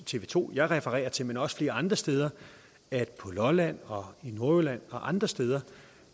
tv to jeg refererer til men også flere andre steder at på lolland og i nordjylland og andre steder